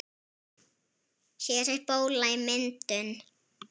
Hér er bóla í myndun.